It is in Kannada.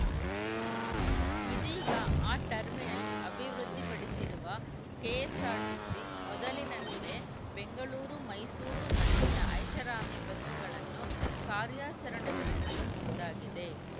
ಇದೀಗ ಆ ಟರ್ಮಿನಲ್‌ ಅಭಿವೃದ್ಧಿಪಡಿಸಿರುವ ಕೆಎಸ್ಸಾರ್ಟಿಸಿ ಮೊದಲಿನಂತೆ ಬೆಂಗಳೂರು ಮೈಸೂರು ನಡುವಿನ ಐಷಾರಾಮಿ ಬಸ್‌ಗಳನ್ನು ಕಾರ್ಯಾಚರಣೆಗೊಳಿಸಲು ಮುಂದಾಗಿದೆ